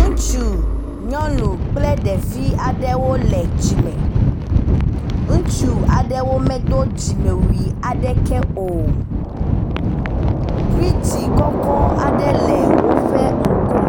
Ŋutsu, nyɔnu kple ɖevi aɖewo le tsi me. Ŋutsu aɖewo medo dzimewui aɖeke o. Bridzi kɔkɔ aɖe le woƒe ŋgɔ.